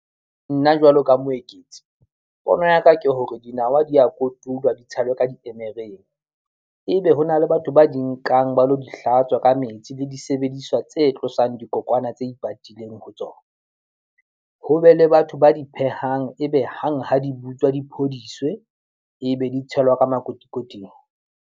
Nna jwalo ka Moeketsi, pono ya ka ke hore dinawa di a kotulwa di tshelwe ka diemereng ebe hona le batho ba di nkang ba lo di hlatswa ka metsi le disebediswa tse tlosang dikokwana tse ipatileng ho tsona, ho be le batho ba di phehang, ebe hang ha di butswa, di phodiswe e be di tshelwa ka makotikoting.